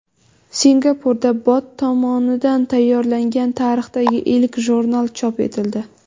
Singapurda bot tomonidan tayyorlangan tarixdagi ilk jurnal chop etildi.